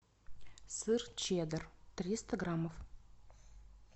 сыр чеддер триста граммов